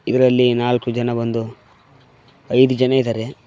ಇದರಲ್ಲಿ ನಾಲ್ಕು ಜನ ಬಂದು ಐದು ಜನ ಇದಾರೆ.